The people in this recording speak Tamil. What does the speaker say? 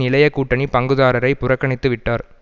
இளைய கூட்டணி பங்குதாரரை புறக்கணித்துவிட்டார்